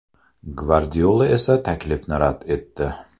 Gvardiola esa taklifni rad etdi.